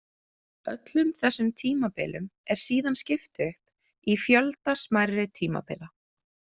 Öllum þessum tímabilum er síðan skipt upp í fjölda smærri tímabila.